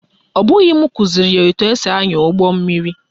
Ọ bụghị m kụziri ya etu esi ányà ụgbọmmiri